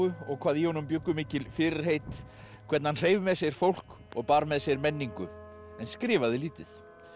og hvað í honum bjuggu mikil fyrirheit hvernig hann hreif með sér fólk og bar með sér menningu en skrifaði lítið